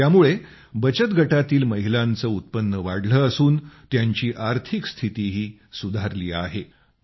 त्यामुळे बचतगटांतील महिलांचे उत्पन्न वाढले असून त्यांची आर्थिक स्थितीही सुधारली आहे